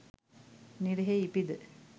නිරයෙහි ඉපිද